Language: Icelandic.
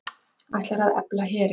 Ætlar að efla herinn